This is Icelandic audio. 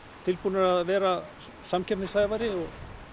tilbúnir að vera samkeppnishæfari og